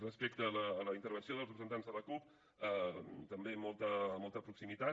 respecte a la intervenció dels representants de la cup també molta molta proximitat